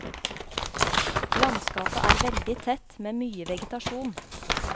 Landskapet er veldig tett, med mye vegetasjon.